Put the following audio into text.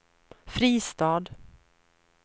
Fristad